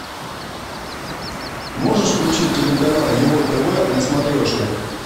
можешь включить телеканал его тв на смотрешке